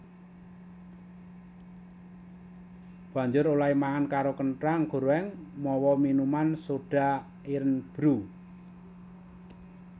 Banjur olèhé mangan karo kenthang gorèng mawa minuman soda Irn Bru